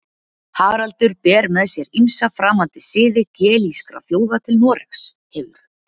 Haraldur ber með sér ýmsa framandi siði gelískra þjóða til Noregs, hefur